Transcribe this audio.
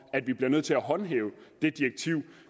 at vi bliver nødt til at håndhæve det direktiv